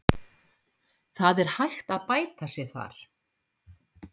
Það er hægt að bæta sig þar.